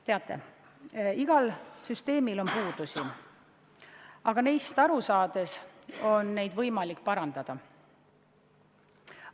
Teate, igal süsteemil on puudusi, aga neist aru saades on neid võimalik parandada.